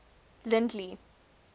lindley